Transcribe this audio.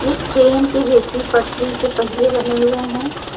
एक ट्रेन के जैसी पटरी के पहिए बने हुए हैं।